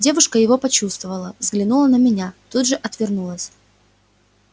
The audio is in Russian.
девушка его почувствовала взглянула на меня тут же отвернулась